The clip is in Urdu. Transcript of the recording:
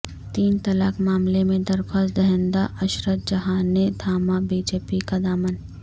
تین طلاق معاملہ میں درخواست دہندہ عشرت جہاں نے تھاما بی جے پی کا دامن